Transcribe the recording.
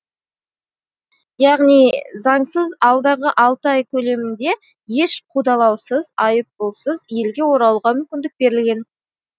яғни заңсыз алдағы алты ай көлемінде еш қудалаусыз айыппұлсыз елге оралуға мүмкіндік берілген